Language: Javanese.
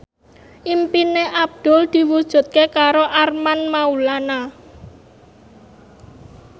impine Abdul diwujudke karo Armand Maulana